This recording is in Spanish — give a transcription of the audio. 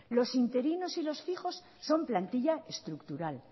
los interinos y los fijos son plantilla estructural